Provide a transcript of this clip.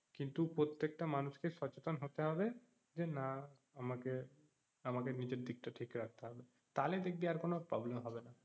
কিন্তু প্রত্যেকটা মানুষকে সচেতন হতে হবে যে না আমাকে, আমাকে নিজের দিকটা ঠিক রাখতে হবে তাহলে দেখবি আর কোনো problem হবেনা